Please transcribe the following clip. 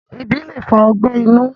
ẹbi le fa ọgbẹ inu